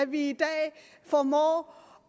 vi i dag formår